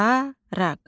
Daraq.